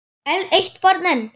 Eitt barn enn?